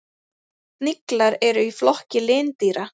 Sniglar eru í flokki lindýra.